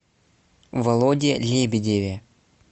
володе лебедеве